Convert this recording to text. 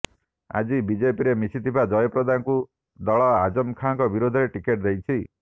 ଆଜି ବିଜେପିରେ ମିଶିଥିବା ଜୟପ୍ରଦାଙ୍କୁ ଦଳ ଆଜମ ଖାନଙ୍କ ବିରୋଧରେ ଟିକେଟ ଦେଇଛି